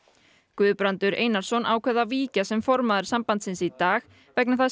Guðbrandur Einarsson ákvað að víkja sem formaður sambandsins í dag vegna þess